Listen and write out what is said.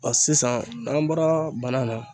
sisan n'an bɔra bana na.